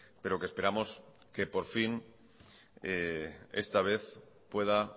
pero que esperamos que por fin esta vez pueda